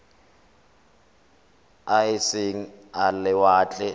a e seng a lewatle